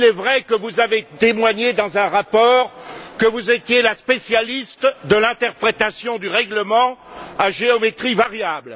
Il est vrai que vous avez témoigné dans un rapport que vous étiez la spécialiste de l'interprétation du règlement à géométrie variable.